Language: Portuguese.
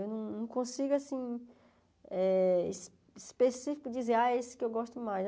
Eu não não consigo, assim, eh es específico dizer, ah, esse que eu gosto mais.